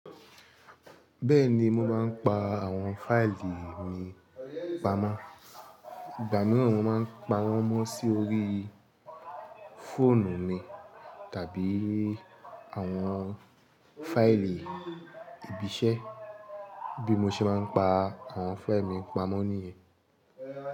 Bẹ́ẹ̀ ni, mo máa ń pa àwọn fáìlì mi pamọ́. Ìgbà mìíràn máa ń pa wọ́n mọ́ sí orí fóònù mi tàbí àwọn fáìlì ibi iṣẹ́ bí mo ṣe máa ń pa àwọn fáìlì mi pamọ́ níyẹn.